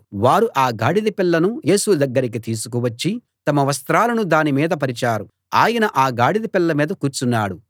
వారు ఆ గాడిద పిల్లను యేసు దగ్గరికి తీసుకు వచ్చి తమ వస్త్రాలను దాని మీద పరిచారు ఆయన ఆ గాడిద పిల్ల మీద కూర్చున్నాడు